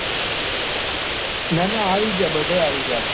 નાના આવી ગયા બધાય અવી ગયા છે.